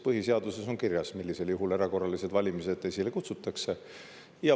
Põhiseaduses on kirjas, millisel juhul erakorralised valimised esile kutsutakse.